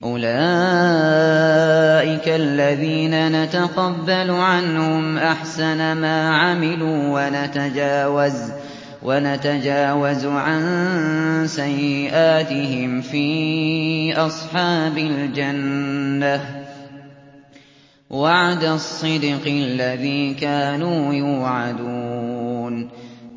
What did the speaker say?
أُولَٰئِكَ الَّذِينَ نَتَقَبَّلُ عَنْهُمْ أَحْسَنَ مَا عَمِلُوا وَنَتَجَاوَزُ عَن سَيِّئَاتِهِمْ فِي أَصْحَابِ الْجَنَّةِ ۖ وَعْدَ الصِّدْقِ الَّذِي كَانُوا يُوعَدُونَ